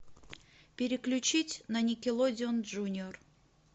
переключить на никелодион джуниор